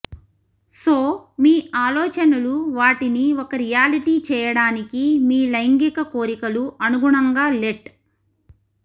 so మీ ఆలోచనలు వాటిని ఒక రియాలిటీ చేయడానికి మీ లైంగిక కోరికలు అనుగుణంగా లెట్